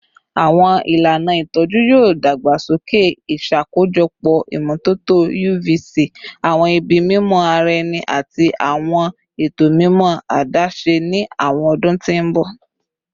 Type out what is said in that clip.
Awọn ilana itọju yoo dagbasoke, iṣakojọpọ imototo UV-C, awọn ibi mimọ ara ẹni, ati awọn eto mimọ adaṣe ni awọn ọdun ti n bọ.